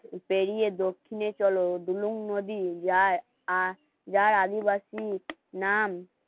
পেরিয়ে দক্ষিণে চলো দুলুং নদী যায় আর যার আদিবাসী নাম